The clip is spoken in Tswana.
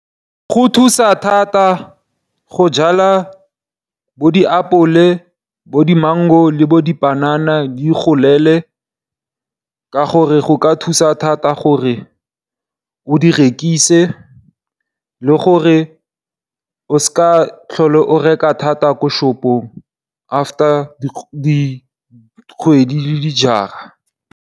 Go thusa thata go jala bo diapole, bo di mango le bo dipanana di ikgolele ka gore go ka thusa thata gore o di rekise le gore o sa tlhole o reka thata ko shopong after dikgwedi le dijara.